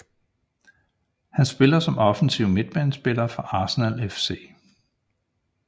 Han spiller som offensiv midtbanespiller for Arsenal FC